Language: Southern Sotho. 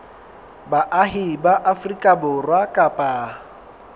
baahi ba afrika borwa kapa